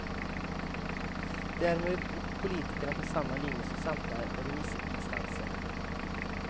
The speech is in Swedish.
Därmed går politikerna på samma linje som samtliga remissinstanser.